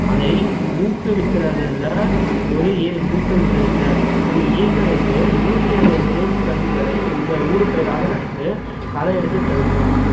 அதை ஊக்குவிக்கறதுல ஒரு ஏ~ ஊக்குவிக்கறது இல்லை ஒரு ஏக்கருக்கு நூத்தி அறுபது தேக்குக் கன்றுகளை உடு~ ஊடுபயிராக நட்டு களை எடுத்துத் தருவோம்